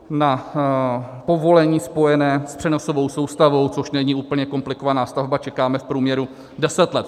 Na povolení spojené s přenosovou soustavou, což není úplně komplikovaná stavba, čekáme v průměru 10 let.